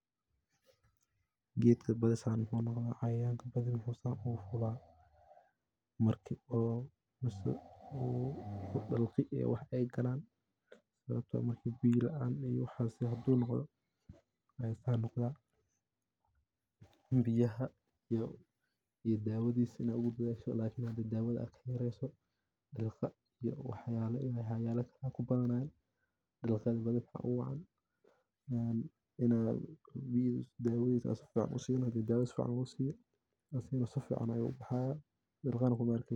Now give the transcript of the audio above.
Gedka badi maxu san unoqda cayayanka macu san ogu fula marku bahal galo u san noqdo sawabto hadu biya laan noqdo biyaha iyo dawadha hada ohu dadhasho dawadha aa kabadinin dilqa iyo waxyala kabadanay dawadha hada si fican usiso dilqa kuma arkeysid.